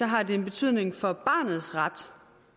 har en betydning for barnets ret